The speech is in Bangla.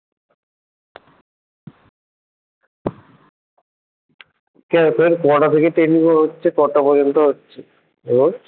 তোর কটা থেকে training হচ্ছে কটা পর্যন্ত হচ্ছে রোজ?